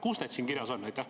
Kus need siin kirjas on?